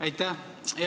Aitäh!